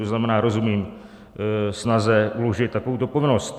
To znamená, rozumím snaze uložit takovouto povinnost.